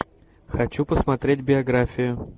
хочу посмотреть биографию